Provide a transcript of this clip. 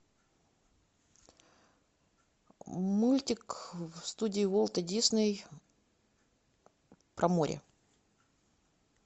мультик студии уолта дисней про море